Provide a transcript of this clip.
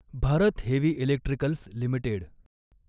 Bharat heavy electricals limited